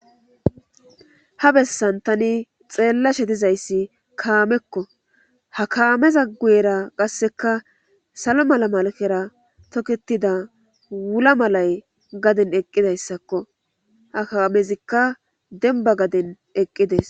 ha bessan tani xeellashe tizayssi kaamekko ha kaameza guyera qasseka salo mala malakera tokketida wula malay gaden eqqidayssakko ha kaamezikka denba gaden eqqides